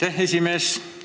Aitäh, esimees!